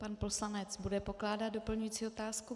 Pan poslanec bude pokládat doplňující otázku.